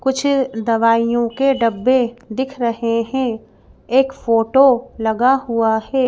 कुछ दवाइयों के डब्बे दिख रहे हैं एक फोटो लगा हुआ है।